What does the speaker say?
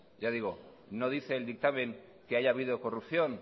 ya digo no dice el dictamen que haya habido corrupción